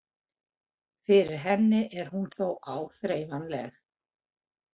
Fyrir henni er hún þó áþreifanleg.